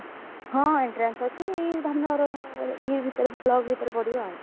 ହଁ entrance ଅଛି ଇଏ ଭିତେରେ block ଭିତରେ ପଡିବ ଆଉ।